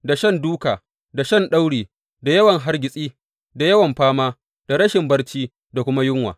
Da shan dūka, da shan dauri, da yawan hargitsi, da yawan fama, da rashin barci, da kuma yunwa.